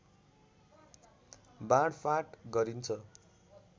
बाँडफाट गरिन्छ